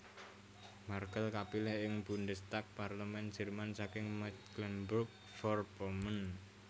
Merkel kapilih ing Bundestag Parlemén Jerman saking Mecklenburg Vorpommern